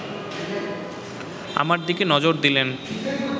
আমার দিকে নজর দিলেন